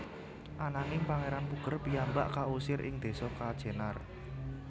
Ananging Pangeran Puger piyambak kausir ing desa Kajenar